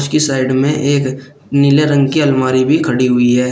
इस साइड में एक नीले रंग की अलमारी भी खड़ी हुई है।